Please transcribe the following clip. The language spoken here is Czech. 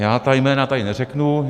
Já ta jména tady neřeknu.